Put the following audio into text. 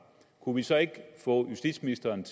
kunne vi så ikke få justitsministeren